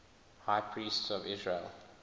high priests of israel